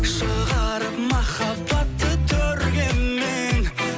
шығарып махаббатты төрге мен